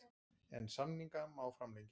En samninga má framlengja.